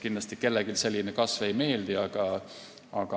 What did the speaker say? Kindlasti kellelegi selline kasv ei meeldi.